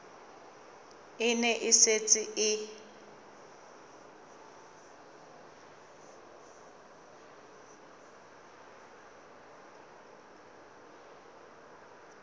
e ne e setse e